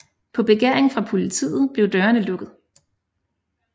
På begæring fra politiet blev dørene lukket